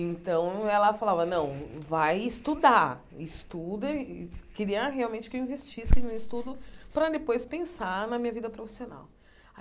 Então, ela falava, não, vai estudar, estuda e queria realmente que eu investisse no estudo para depois pensar na minha vida profissional.